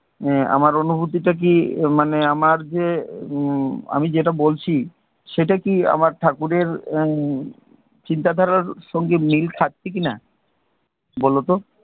আমার অনুভূতিটা কি, আমার যে, হম আমি যেটা বলছি, সেটা কি ঠাকুরের চিন্তা ধারার সাথে মিল খাচ্ছে কিনা? বলও তো